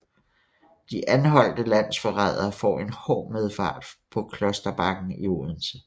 De anholdte landsforrædere får en hård medfart på Klosterbakken i Odense